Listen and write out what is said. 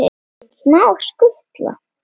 Engin smá skutla!